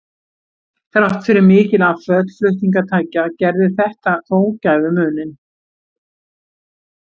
Þrátt fyrir mikil afföll flutningatækja gerði þetta þó gæfumuninn.